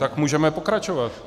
Tak můžeme pokračovat.